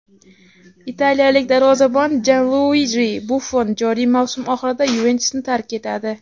Italiyalik darvozabon Janluiji Buffon joriy mavsum oxirida "Yuventus"ni tark etadi.